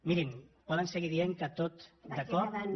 mirin poden seguir dient que tot de cop no